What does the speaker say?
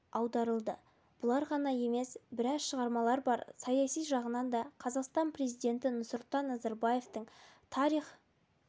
аударылды бұлар ғана емес біраз шығармалар бар саяси жағынан да қазақстан президенті нұрсұлтан назарбаевтың тарих